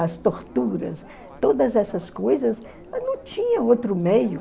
as torturas, todas essas coisas, não tinha outro meio.